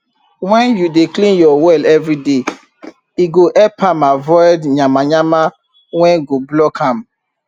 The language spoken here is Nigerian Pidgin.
wen u dey clean ur well everyday e go help am avoid yamayama wen go block am